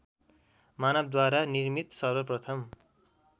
मानवद्वारा निर्मित सर्वप्रथम